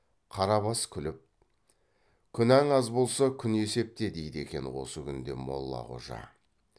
қарабас күліп күнәң аз болса күн есепте дейді екен осы күнде молла қожа